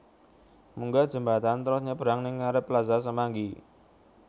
Munggah jembatan trus nyabrang ning ngarep Plaza Semanggi